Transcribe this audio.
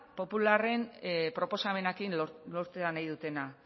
popularrek proposamenarekin lortu nahi dutena